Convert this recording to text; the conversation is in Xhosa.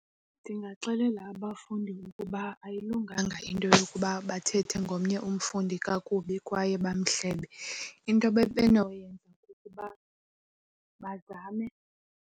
Ndingaxelela abafundi ukuba ayilunganga into yokuba bathethe ngomnye umfundi kakubi kwaye bamehlebe. Into ebebenokuyenza kukuba bazame.